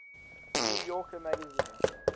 new yorker magazine